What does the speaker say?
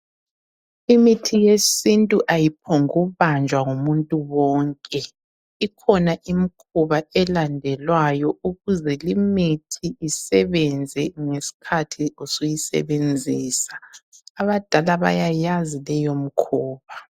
Imithi yesintu ayiphombu kubanjwa ngumuntu wonke, ikhona imkhuba elandelwayo ukuze limithi isebenze ngesikhathi usuyisebenzisa abadala bayayazi leyo mkhuba.